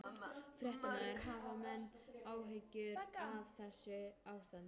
Fréttamaður: Hafa menn áhyggjur af þessu ástandi?